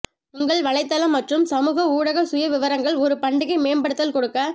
உங்கள் வலைத்தளம் மற்றும் சமூக ஊடக சுயவிவரங்கள் ஒரு பண்டிகை மேம்படுத்தல் கொடுக்க